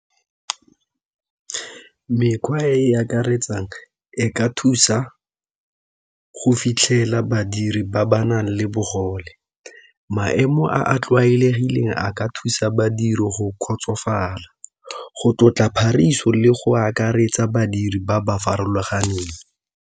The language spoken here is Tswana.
Mekgwa e e akaretsang e ka thusa go fitlhela badiri ba ba nang le bogole, maemo a a tlwaelegileng a ka thusa badiri go kgotsofala, go tlotla le go akaretsa badiri ba ba farologaneng.